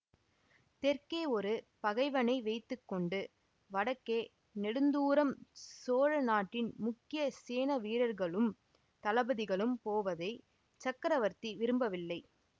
தெற்கே ஒரு பகைவனை வைத்து கொண்டு வடக்கே நெடுந்தூரம் சோழ நாட்டின் முக்கிய சேனா வீரர்களும் தளபதிகளும் போவதைச் சக்கரவர்த்தி விரும்பவில்லை